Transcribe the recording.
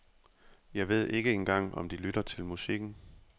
Jeg ved ikke engang om de lytter til musikken.